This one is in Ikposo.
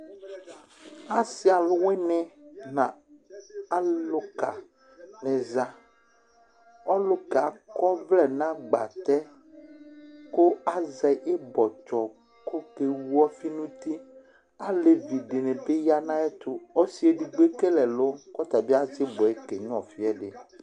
Asɩ alʋwɩnɩ aza, alʋka ni aza Ɔlʋka yɛ akɔ ɔvlɛ nʋ agbatɛ kʋ azɛ ɩbɔtsɔ, kʋ okewʋ ɔfɩ nʋ uti Alevi dɩnɩ bɩ ya nʋ ayʋ ɛtʋ Ɔsɩ edigbo ekele ɛlʋ, kʋ ɔtabɩ azɛ ɩbɔ yɛ kenyʋɩa ɔfɩ ɛdɩ